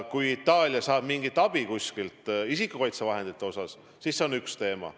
Kui Itaalia saab mingit abi kuskilt isikukaitsevahendite puhul, siis see on üks teema.